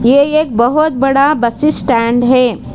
ये एक बहुत बड़ा बस स्टैंड है।